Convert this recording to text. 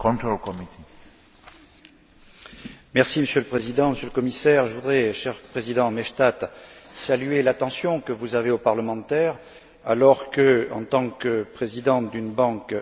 Monsieur le Président, Monsieur le Commissaire, je voudrais, cher président Maystadt, saluer l'attention que vous témoignez aux parlementaires, alors que, en tant que président d'une banque intergouvernementale, vous n'y êtes pas tenu